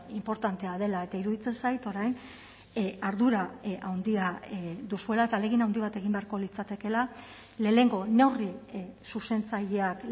inportantea dela eta iruditzen zait orain ardura handia duzuela eta ahalegin handi bat egin beharko litzatekeela lehenengo neurri zuzentzaileak